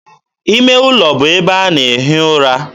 ime ụlọ bụ ebe a na-ehi ụra.